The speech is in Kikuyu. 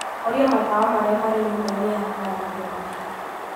horia matawa marĩa marĩ nyũmba-inĩ ya kũharĩria mbica